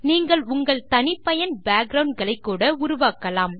நீங்கள் உங்கள் தனிப்பயன் பேக்கிரவுண்ட் களைக்கூட உருவாக்கலாம்